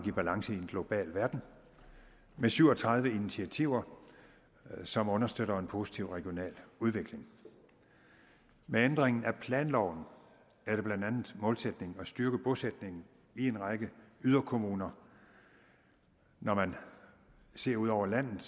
i balance i en global verden med syv og tredive initiativer som understøtter en positiv regional udvikling med ændringen af planloven er det blandt andet målsætningen at styrke bosætningen i en række yderkommuner når man ser ud over landet